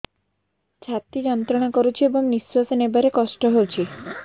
ଛାତି ଯନ୍ତ୍ରଣା କରୁଛି ଏବଂ ନିଶ୍ୱାସ ନେବାରେ କଷ୍ଟ ହେଉଛି